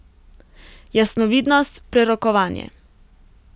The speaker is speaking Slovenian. Jasnovidnost, prerokovanje.